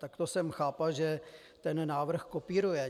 Tak to jsem chápal, že ten návrh kopíruje.